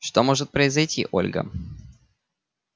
что может произойти ольга